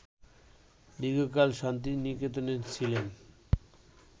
দীর্ঘকাল শান্তিনিকেতনে ছিলেন